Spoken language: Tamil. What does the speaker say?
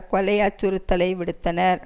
கொலை அச்சுறுத்தலை விடுத்தனர்